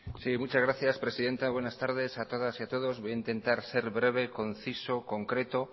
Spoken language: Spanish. sí muchas gracias presidenta buenas tardes a todas y a todos voy a intentar ser breve conciso concreto